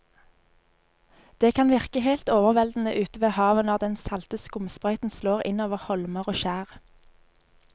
Det kan virke helt overveldende ute ved havet når den salte skumsprøyten slår innover holmer og skjær.